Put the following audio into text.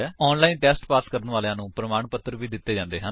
online pass ਕਰਨ ਵਾਲਿਆਂ ਨੂੰ ਪ੍ਰਮਾਣ ਪੱਤਰ ਵੀ ਦਿੰਦੇ ਹਨ